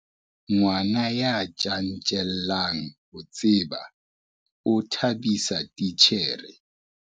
Ngwana ya tjantjellang ho tseba o thabisa titjhere.